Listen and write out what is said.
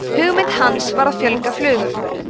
hugmynd hans var að fjölga flugum